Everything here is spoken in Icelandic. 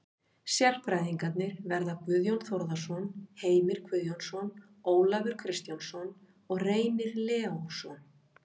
Sérfræðingarnir verða Guðjón Þórðarson, Heimir Guðjónsson, Ólafur Kristjánsson og Reynir Leósson.